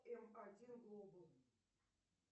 м один глобал